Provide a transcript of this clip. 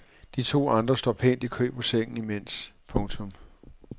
De to andre står pænt i kø på sengen imens. punktum